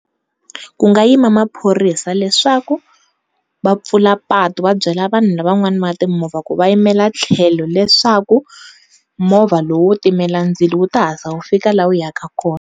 Ku nga yima maphorisa leswaku va pfula patu vabyela vanhu lava van'wana va timovha ku va yimela tlhelo leswaku movha lowu wo timela ndzilo wu ta hatlisa wu fika la wu ya ka kona.